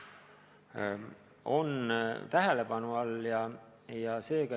See on tähelepanu all.